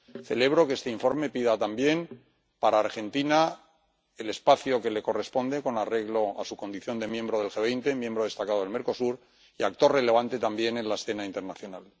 Celebro que este informe pida también para Argentina el espacio que le corresponde con arreglo a su condición de miembro del G 20, miembro destacado del Mercosur y actor relevante también en la escena internacional.